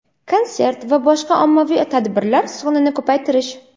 konsert va boshqa ommaviy tadbirlar sonini ko‘paytirish;.